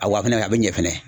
A wa a bɛna kɛ, a bɛ ɲɛ fɛnɛ.